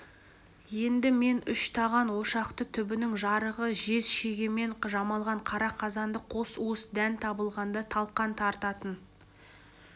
енді мен үш таған ошақты түбінің жарығы жез шегемен жамалған қара қазанды қос уыс дән табылғанда талқан тартатын